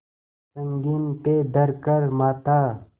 संगीन पे धर कर माथा